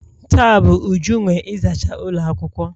Taa bu Uju nwe ịzacha ụlọ akwụkwọ.